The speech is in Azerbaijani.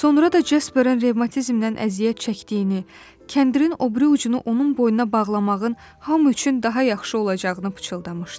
Sonra da Cəsbərin revmatizmdən əziyyət çəkdiyini, kəndirin o biri ucunu onun boynuna bağlamağın hamı üçün daha yaxşı olacağını pıçıldamışdı.